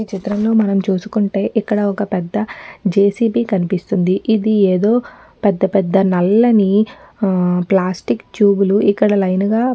ఈచిత్రంలో మనం చూసుకుంటే ఇక్కడ ఒక్క పెద్ద జైసిబి కనిపిస్తుంది ఇది ఏదో పెద్ద పెద్ద నల్లని ఆహ్ ప్లాస్టిక్ ట్యూబ్ లు ఇక్కడ లైన్ గా --